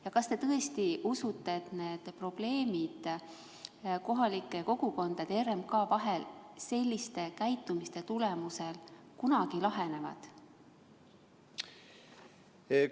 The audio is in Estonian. Ja kas te tõesti usute, et probleemid kohalike kogukondade ja RMK vahel sellise tegutsemise korral kunagi lahenevad?